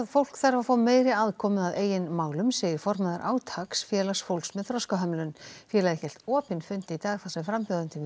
fólk þarf að fá meiri aðkomu að eigin málum segir formaður átaks félags fólks með þroskahömlun félagið hélt opinn fund í dag þar sem frambjóðendum í